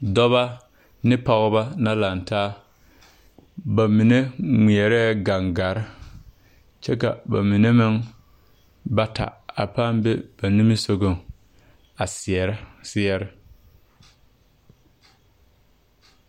Dɔbɔ ne pɔgebɔ na laŋtaa ba mine ngmɛɛrɛɛ gangarre kyɛ ka ba mine bata a pãã be ba nimisugɔŋ seɛrɛ seɛre.